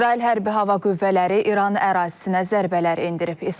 İsrail hərbi hava qüvvələri İran ərazisinə zərbələr endirib.